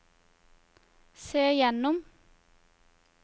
se gjennom